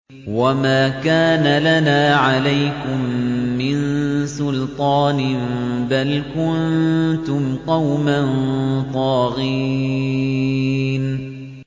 وَمَا كَانَ لَنَا عَلَيْكُم مِّن سُلْطَانٍ ۖ بَلْ كُنتُمْ قَوْمًا طَاغِينَ